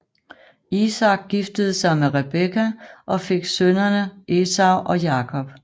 Isak giftede sig med Rebekka og fik sønnene Esau og Jakob